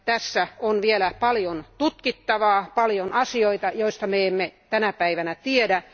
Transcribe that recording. Tässä on vielä paljon tutkittavaa, paljon asioita, joista me emme tänä päivänä tiedä.